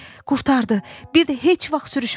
Qurtardı, bir də heç vaxt sürüşmərəm!